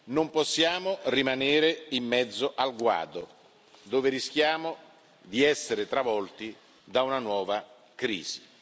Non possiamo rimanere in mezzo al guado, dove rischiamo di essere travolti da una nuova crisi.